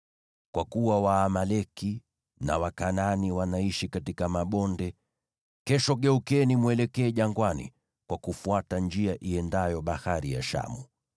Kwa kuwa Waamaleki na Wakanaani wanaishi katika mabonde, kesho geukeni mwelekee jangwani kwa kufuata njia iendayo Bahari ya Shamu.”